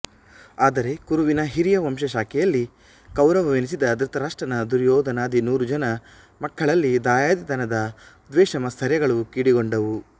ಆದರೆ ಕುರುವಿನ ಹಿರಿಯ ವಂಶ ಶಾಖೆಯಲ್ಲಿ ಕೌರವನೆನಿಸಿದ ಧೃತರಾಷ್ಟ್ರನ ದುರ್ಯೋಧನಾದಿ ನೂರುಜನ ಮಕ್ಕಳಲ್ಲಿ ದಾಯಾದಿತನದ ದ್ವೇಷಮಾತ್ಸರ್ಯಗಳು ಕಿಡಿಗೊಂಡವು